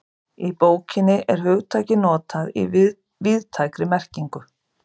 Í bókinni er hugtakið notað í víðtækri merkingu.